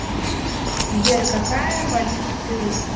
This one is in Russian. сбер какая валюта в перу